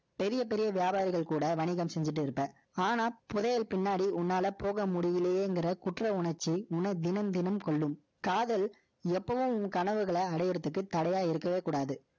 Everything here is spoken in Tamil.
பெரிய, பெரிய வியாபாரிகள் கூட, வணிகம் செஞ்சுட்டு இருப்ப. ஆனா, புதையல் பின்ன உன்னால போக முடியலையேங்கிற குற்ற உணர்ச்சி, தினம் தினம் கொள்ளும். காதல், எப்பவும் உன் கனவுகளை அடையறதுக்கு, தடையா இருக்கவே கூடாது.